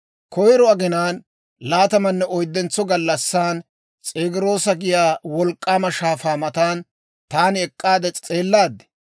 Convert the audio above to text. Koyiro aginaan laatamanne oyddentso gallassan, S'egiroosa giyaa wolk'k'aama shaafaa matan taani ek'k'aade s'eellaad;